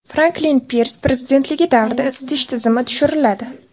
Franklin Pirs prezidentligi davrida isitish tizimi tushiriladi.